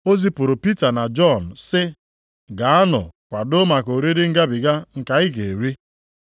O zipụrụ Pita na Jọn sị, “Gaanụ kwadoo maka oriri Ngabiga nke anyị ga-eri.”